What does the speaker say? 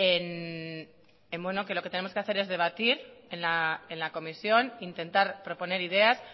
en que lo que tenemos que hacer es debatir en la comisión intentar proponer ideas